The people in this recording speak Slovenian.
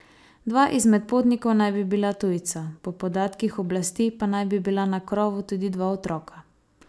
Dva izmed potnikov naj bi bila tujca, po podatkih oblasti pa naj bi bila na krovu tudi dva otroka.